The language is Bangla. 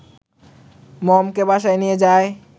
মমকে বাসায় নিয়ে যায়